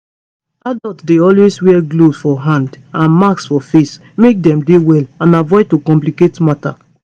adults dey always wear gloves for hand and masks for face make dem dey well and avoid to complicate matter